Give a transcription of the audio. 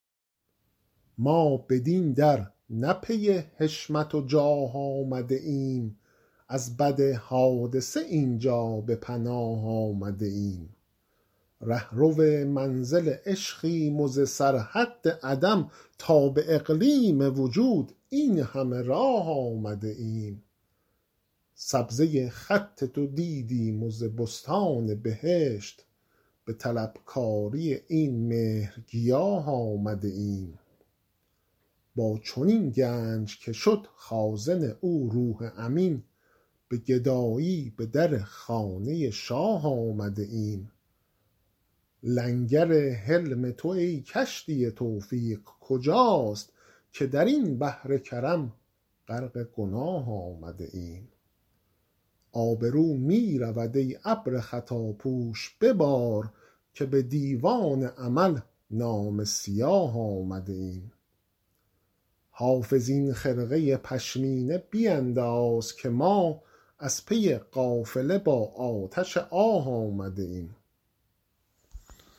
ما بدین در نه پی حشمت و جاه آمده ایم از بد حادثه این جا به پناه آمده ایم رهرو منزل عشقیم و ز سرحد عدم تا به اقلیم وجود این همه راه آمده ایم سبزه خط تو دیدیم و ز بستان بهشت به طلبکاری این مهرگیاه آمده ایم با چنین گنج که شد خازن او روح امین به گدایی به در خانه شاه آمده ایم لنگر حلم تو ای کشتی توفیق کجاست که در این بحر کرم غرق گناه آمده ایم آبرو می رود ای ابر خطاپوش ببار که به دیوان عمل نامه سیاه آمده ایم حافظ این خرقه پشمینه بینداز که ما از پی قافله با آتش آه آمده ایم